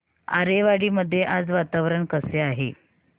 आरेवाडी मध्ये आज वातावरण कसे आहे